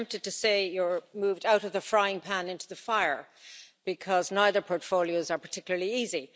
I'm tempted to say you've moved out of the frying pan into the fire, because neither portfolios are particularly easy.